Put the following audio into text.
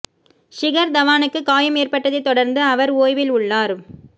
ஷிகர் தவானுக்கு காயம் ஏற்பட்டதை தொடர்ந்து அவர் ஓய்வில் உள்ளார்